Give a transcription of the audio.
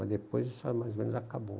Mas depois isso mais ou menos acabou.